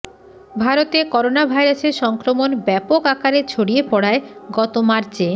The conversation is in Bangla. ভারতে করোনা ভাইরাসের সংক্রমণ ব্যাপক আকারে ছড়িয়ে পড়ায় গত মার্চে